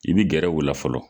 I bɛ gɛrɛ u la fɔlɔ.